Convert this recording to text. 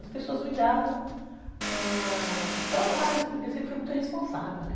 as pessoas me davam, ãh... os trabalhos, porque eu sempre fui muito irresponsável, né?